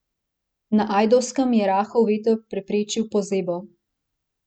Na Ajdovskem je rahel veter preprečil pozebo.